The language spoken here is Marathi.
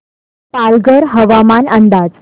पालघर हवामान अंदाज